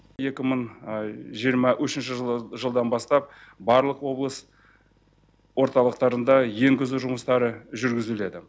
екі мың жиырма ушінші жылдан бастап барлық облыс орталықтарында енгізу жұмыстары жүргізіледі